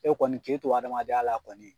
E kɔni k'e to hadamadenya la kɔni